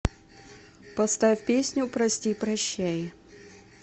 поставь песню прости прощай